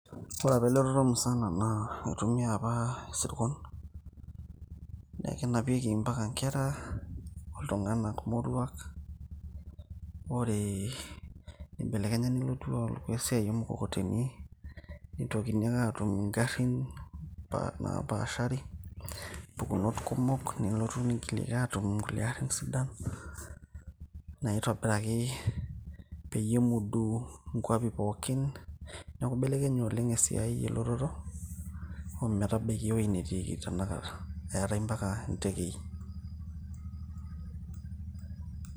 ore apa elototo musana naa itumia apa isirkon . kenapieki mpaka nkera, iltunganak moruak . ore nibelekenya nelotu aaku esiai oo mkokoteni , nitokini ake atum ingarin napaashari, mpukunot kumok , nelotu nigiliki atum nkulie arin sidan naitobiraki peyie epuo duo nkwapi pookin. neaku ibelekenye oleng esiai elototo ometabaiki ewuei netiiki tenakata eentae mpaka ntekei .